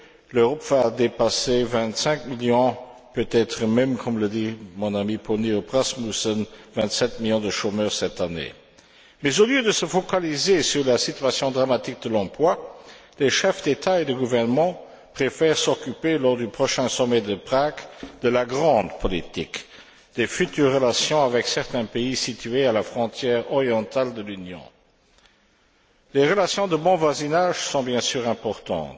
L'Europe va dépasser vingt cinq millions, peut être même comme le dit mon ami Poul Nyrup Rasmussen vingt sept millions de chômeurs cette année. Mais, au lieu de se focaliser sur la situation dramatique de l'emploi, les chefs d'État et de gouvernement préfèrent s'occuper, lors du prochain sommet de Prague, de la grande politique, des futures relations avec certains pays situés à la frontière orientale de l'Union. Les relations de bon voisinage sont bien sûr importantes.